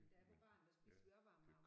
Da jeg var barn der spiste vi også varm mad om